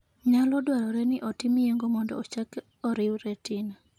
Nyalo dwarore ni otim yeng'o mondo ochak oriw retina.